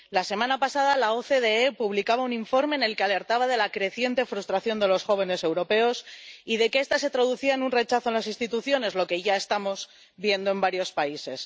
La semana pasada la OCDE publicaba un informe en el que alertaba de la creciente frustración de los jóvenes europeos y de que esta se traducía en un rechazo a las instituciones, lo que ya estamos viendo en varios países.